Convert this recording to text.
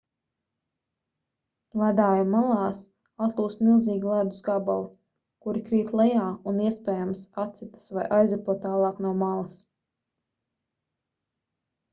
ledāju malās atlūst milzīgi ledus gabali kuri krīt lejā un iespējams atsitas vai aizripo tālāk no malas